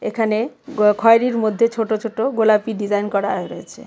এখানে গ খয়েরির মধ্যে ছোট ছোট গোলাপি ডিজাইন করা রয়েছে।